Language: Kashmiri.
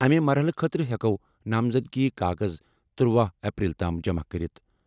اَمہِ مرحلہٕ خٲطرٕ ہٮ۪کَو نامزدگی کاغذ ترٛوہُ اپریل تام جمع کٔرِتھ۔